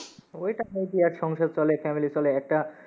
ঐ টাকায় কি আর সংসার চলে, family চলে, একটা